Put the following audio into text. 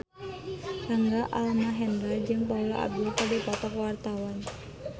Rangga Almahendra jeung Paula Abdul keur dipoto ku wartawan